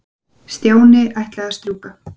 Stjáni ætlaði að strjúka.